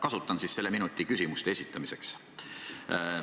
Kasutan selle minuti ära mitme küsimuse esitamiseks.